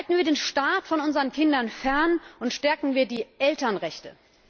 Halten wir den Staat von unseren Kindern fern und stärken wir die Elternrechte!